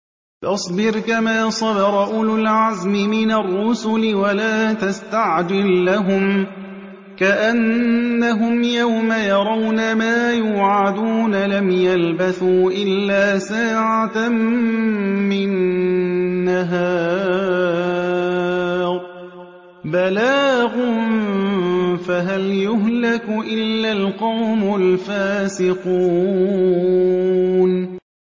فَاصْبِرْ كَمَا صَبَرَ أُولُو الْعَزْمِ مِنَ الرُّسُلِ وَلَا تَسْتَعْجِل لَّهُمْ ۚ كَأَنَّهُمْ يَوْمَ يَرَوْنَ مَا يُوعَدُونَ لَمْ يَلْبَثُوا إِلَّا سَاعَةً مِّن نَّهَارٍ ۚ بَلَاغٌ ۚ فَهَلْ يُهْلَكُ إِلَّا الْقَوْمُ الْفَاسِقُونَ